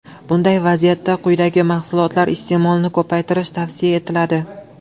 Bunday vaziyatda quyidagi mahsulotlar iste’molini ko‘paytirish tavsiya etiladi.